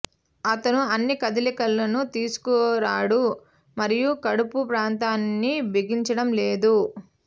అతను అన్ని కదలికలను తీసుకురాడు మరియు కడుపు ప్రాంతాన్ని బిగించడం లేదు